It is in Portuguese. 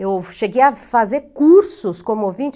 Eu cheguei a fazer cursos como ouvinte.